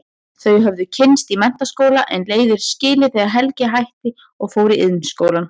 Þau höfðu kynnst í menntaskóla en leiðir skilið þegar Helgi hætti og fór í Iðnskólann.